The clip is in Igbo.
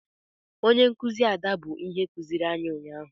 Onye nkụzi Ada bụ ihe kụziiri anyị ụnyaahụ